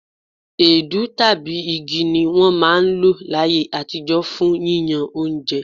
Èédú tàbí igi ni wọ́n máa ń lò láyé àtijọ́ fún yíyán oúnjẹ.